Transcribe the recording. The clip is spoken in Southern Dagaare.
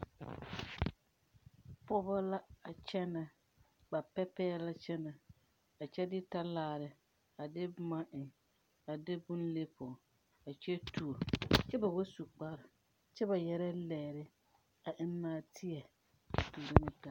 Pogɔ la a kyɛ ba pɛgrɛ la kaayaɛrrɛ a kyɛ de talaare a de bomma a de bon le pog kyɛ tuo kyɛ ba wa su kparre kyɛ ba yaga zie yɛrɛɛ lɛɛre a eŋ naateɛ.